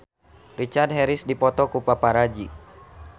Richard Harris dipoto ku paparazi